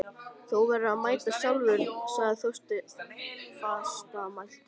Þú verður að meta það sjálfur sagði Þorsteinn fastmæltur.